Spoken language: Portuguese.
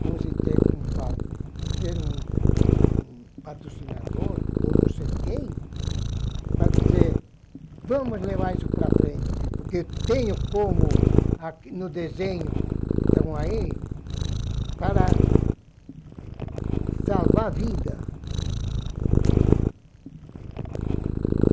como se ter, como falam, de ter um um patrocinador, ou não sei quem, para dizer, vamos levar isso para frente, porque tenho como, no desenho que estão aí, para salvar vida.